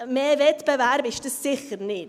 Mehr Wettbewerb ist das sicher nicht.